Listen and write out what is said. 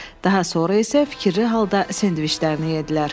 Daha sonra isə fikirli halda sendviçlərini yedlər.